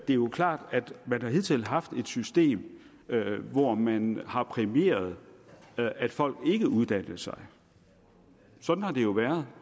jo er klart at man hidtil har haft et system hvor man har præmieret at folk ikke uddannede sig sådan har det jo været